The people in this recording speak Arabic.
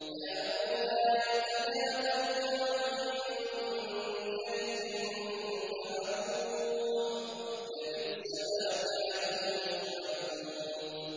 كَانُوا لَا يَتَنَاهَوْنَ عَن مُّنكَرٍ فَعَلُوهُ ۚ لَبِئْسَ مَا كَانُوا يَفْعَلُونَ